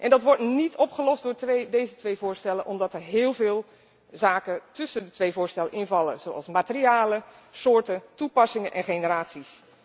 Dat wordt niet opgelost door deze twee voorstellen, omdat er heel veel zaken tussen de twee voorstellen invallen, zoals materialen, soorten, toepassingen en generaties.